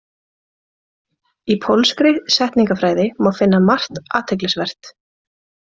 Í pólskri setningafræði má finna margt athyglisvert.